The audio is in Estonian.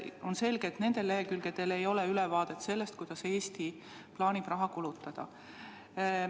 On selge, et nende lehekülgedel ei ole ülevaadet sellest, kuidas Eesti plaanib raha kulutada.